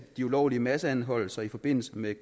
de ulovlige masseanholdelser i forbindelse med